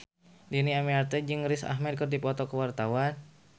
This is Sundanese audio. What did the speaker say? Dhini Aminarti jeung Riz Ahmed keur dipoto ku wartawan